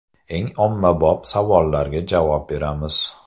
Eng ommabop savollarga javob beramiz.